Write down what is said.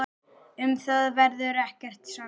Um það verður ekkert sannað.